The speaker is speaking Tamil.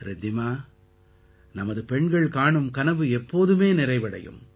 ரித்திமா நமது பெண்கள் காணும் கனவு எப்போதுமே நிறைவடையும்